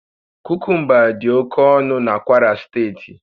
Kukumba dị oke ọnụ na Kwara steeti